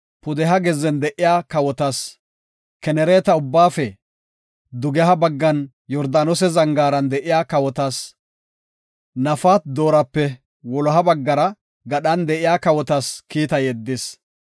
pudeha gezzen de7iya kawotas, Kenereeta abbaafe dugeha baggan Yordaanose zangaaran de7iya kawotas, Nafat-Doorape wuloha baggara gadhan de7iya kawotas kiita yeddis.